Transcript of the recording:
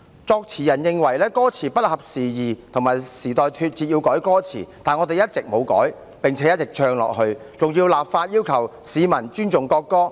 作詞人認為歌詞不合時宜，與時代脫節，要改歌詞，但我們一直沒有改，並且一直唱下去，更立法要求市民尊重國歌。